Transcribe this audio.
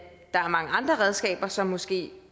der er mange andre redskaber som måske